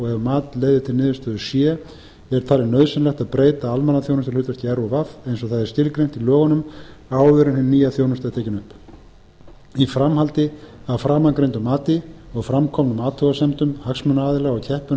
og ef mat leiðir til niðurstöðu c er talið nauðsynlegt að breyta almannaþjónustuhlutverki rúv eins og það er skilgreint í lögunum áður en hin nýja þjónusta er tekin upp í framhaldi af framangreindu mati og fram komnum athugasemdum hagsmunaaðila og